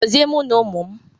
Gozie mụ na ụmụ m!